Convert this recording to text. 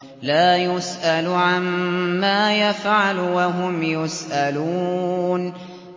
لَا يُسْأَلُ عَمَّا يَفْعَلُ وَهُمْ يُسْأَلُونَ